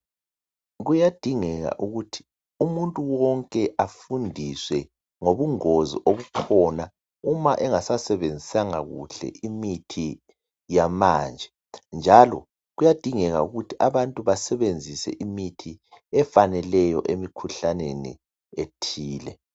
Kuyadingeka ukuthi umuntu wonke afundiswe ngobungozi obukhona uma engasasebenzisanga kuhle imithi yamanje njalo kuyadingeka ukuthi abantu basebenzise imithi efaneleyo emkhuhlaneni ethile.